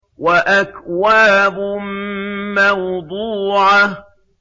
وَأَكْوَابٌ مَّوْضُوعَةٌ